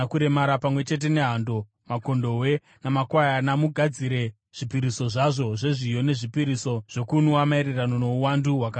Pamwe chete nehando, makondobwe namakwayana, mugadzire zvipiriso zvazvo zvezviyo nezvipiriso zvokunwa maererano nouwandu hwakarayirwa.